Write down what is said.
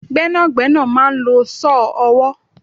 Gbẹ́nàgbẹ́nà máa ń lò saw ọwọ